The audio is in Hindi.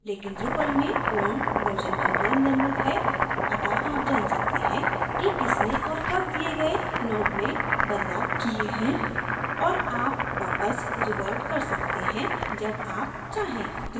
लेकिन drupal में पूर्ण version control निर्मित है अत: आप जान सकते हैं कि किसने और कब दिए गए node में बदलाव किये हैं और आप वापस revert कर सकते हैं जब आप चाहें